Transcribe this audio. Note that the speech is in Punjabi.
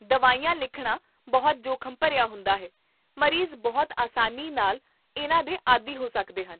ਦਵਾਈਆਂ ਲਿਖਣਾ ਬਹੁਤ ਜੋਖਮ ਭਰਿਆ ਹੁੰਦਾ ਹੈ, ਮਰੀਜ਼ ਬਹੁਤ ਆਸਾਨੀ ਨਾਲ ਇਹਨਾਂ ਦੇ ਆਦੀ ਹੋ ਸਕਦੇ ਹਨ